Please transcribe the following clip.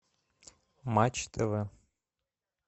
матч тв